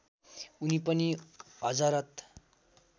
उनी पनि हजरत